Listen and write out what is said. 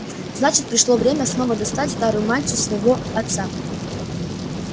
значит пришло время снова достать старую мантию своего отца